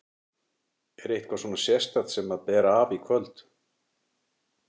Er eitthvað svona sérstakt sem að ber af í kvöld?